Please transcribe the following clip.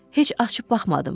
Heç açıb baxmadım.